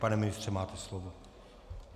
Pane ministře, máte slovo.